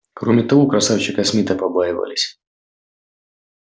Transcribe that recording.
кроме того красавчика смита побаивались